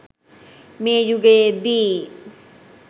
මේ යුගයේදී